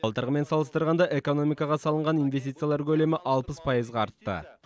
былтырғымен салыстырғанда экономикаға салынған инвестициялар көлемі алпыс пайызға артты